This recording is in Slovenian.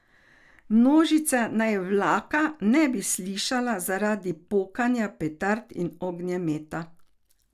Množica naj vlaka ne bi slišala zaradi pokanja petard in ognjemeta.